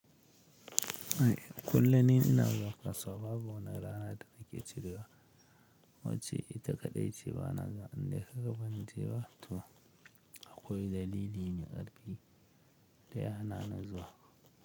Kullum ina zuwa kasuwa saboda wani rana ta rage cirewa, wacce ita kaɗai ce bana ganin da aka gabancewa, to akwai dalili me ƙarfi da yana na zuwa.